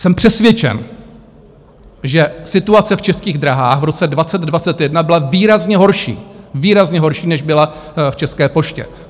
Jsem přesvědčen, že situace v Českých dráhách v roce 2021 byla výrazně horší, výrazně horší, než byla v České poště.